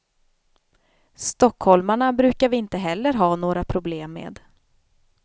Stockholmarna brukar vi heller inte ha några problem med.